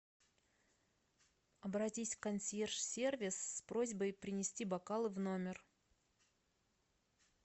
обратись в консьерж сервис с просьбой принести бокалы в номер